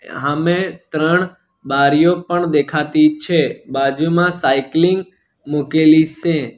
હામે ત્રણ બારીઓ પણ દેખાતી છે બાજુમાં સાઇકલિંગ મૂકેલી સે.